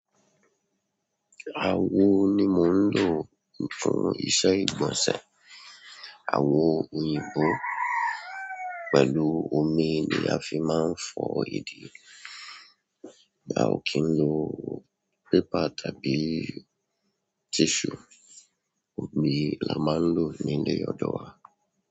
Àwo ni mò ń lò fún ìsẹ ìgbọ̀nsẹ̀. Àwo òyìnbó pẹ̀lú omi ni a fi máa ń fọ̀ ìdí. A o kín ló pépà tàbí tissue, omi la máa ń lò ní ilé ọ̀dọ̀ wa.